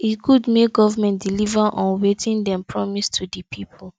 e good make government deliver on wetin dem promise to di people